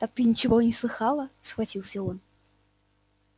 так ты ничего и не слыхала схватился он